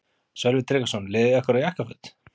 Sölvi Tryggvason: Leðurjakkar og jakkaföt?